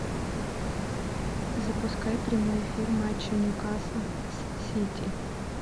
запускай прямой эфир матча ньюкасл с сити